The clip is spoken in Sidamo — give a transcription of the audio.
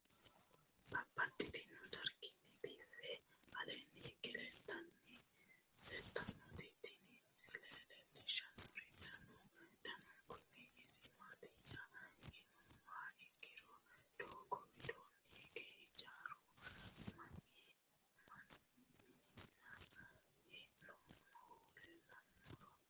Babaxxittinno garinni biiffe aleenni hige leelittannotti tinni misile lelishshanori danu danunkunni isi maattiya yinummoha ikki doogo widoonni hige hijjaru minnanni hee'noonnihu leelanno.ro